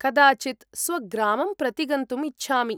कदाचित् स्वग्रामं प्रतिगन्तुम् इच्छामि।